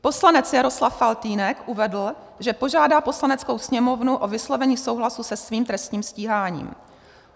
Poslanec Jaroslav Faltýnek uvedl, že požádá Poslaneckou sněmovnu o vyslovení souhlasu se svým trestním stíháním.